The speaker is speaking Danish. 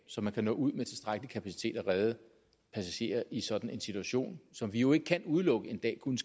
så man kan nå ud med tilstrækkelig kapacitet og redde passagerer i sådan en situation som vi jo ikke kan udelukke en dag kunne